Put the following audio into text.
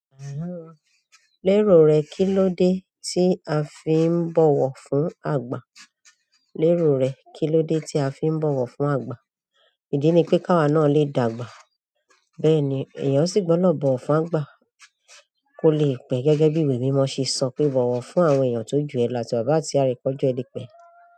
Lérò rẹ, kí ló dé tí a fi ń bọ̀wọ̀ fún àgbà? Ìdí ni pé káwà náà lè dàgbà, bẹ́ẹ̀ ni èèyàn sì gbọ́dọ̀ bọ̀wọ̀ fún àgbà kó lè pẹ́. Gẹ́gẹ́ bí ìwé mímọ́ ṣe sọ pé "bọ̀wọ̀ fún àwọn èèyàn tó jù ẹ lọ, àti bàbá àti ìyá rẹ k'ọjọ rẹ le pé.